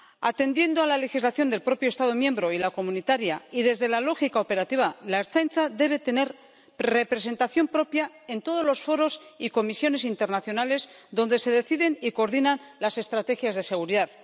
Atendiendo a la legislación del propio Estado miembro y la comunitaria, y desde la lógica operativa, la Ertzaintza debe tener representación propia en todos los foros y comisiones internacionales donde se deciden y coordinan las estrategias de seguridad